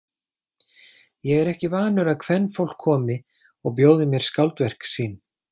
Ég er ekki vanur að kvenfólk komi og bjóði mér skáldverk sín.